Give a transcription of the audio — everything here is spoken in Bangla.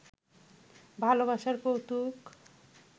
ভালবাসার কৌতুক